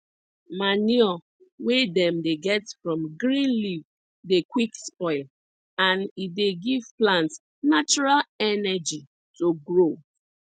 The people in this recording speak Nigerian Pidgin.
manure wey dem dey get from green leaf dey quick spoil and e dey give plant natural energy to grow